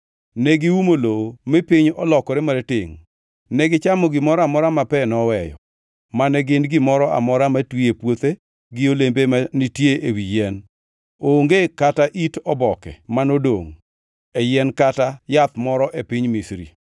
Ne giumo lowo mi piny olokore maratengʼ. Negichamo gimoro amora ma pe noweyo, mane gin gimoro amora matwi e puothe gi olembe ma nitie ewi yien. Onge kata it oboke manodongʼ e yien kata yath moro e piny Misri.